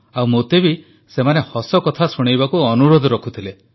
ଆଉ ମୋତେ ବି ସେମାନେ ହସକଥା ଶୁଣେଇବାକୁ ଅନୁରୋଧ କରୁଥିଲେ